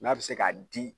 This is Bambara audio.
N'a bɛ se ka di